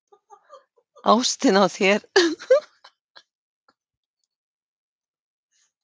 Ástin á þér er nefnilega sannleiksást.